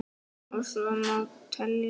Og svo má telja.